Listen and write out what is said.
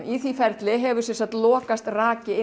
í því ferli hefur lokast raki